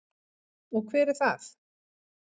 Og hver er það?